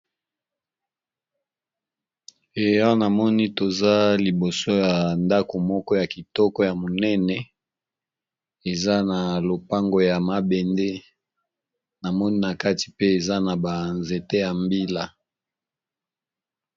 Awa namoni toza liboso ya ndako moko ya kitoko ya monene. eza na lopango ya mabende namoni na kati pe eza na ba nzete ya mbila.